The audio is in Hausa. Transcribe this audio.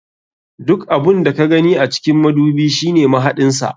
Duk abun da ka gani a cikin madubi shine mahaɗin sa.